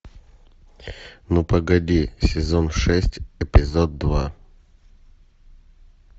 ну погоди сезон шесть эпизод два